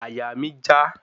Àyà mi já